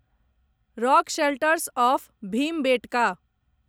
rock shelters of Bhimbetka